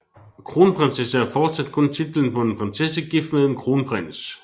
Kronprinsesse er fortsat kun titlen på en prinsesse gift med en kronprins